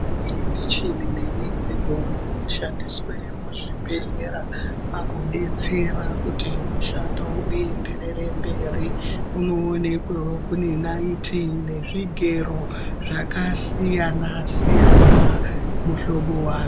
Iyi michini nemidziyo inoshandiswe muzvibhehlera pakudetsera kuti mushando uenderere mberi. Kunovonekwebwo kune naiti nezvigero zvakasiyana-siyana muhlobo wazvo.